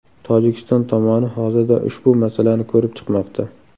Tojikiston tomoni hozirda ushbu masalani ko‘rib chiqmoqda.